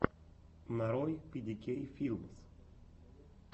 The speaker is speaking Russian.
нарой пи ди кей филмс